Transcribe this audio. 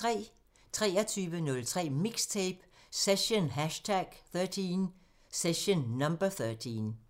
23:03: MIXTAPE – Session #13